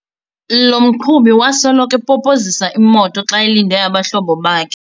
Lo mqhubi wasoloko epopozisa imoto xa elinde abahlobo bakhe.